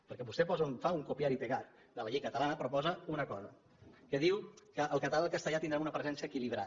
perquè vostè fa un copiar y pegar de la llei ca talana però hi posa una cosa diu que el català i el castellà tindran una presència equilibrada